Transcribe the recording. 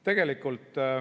Lõppes ikka.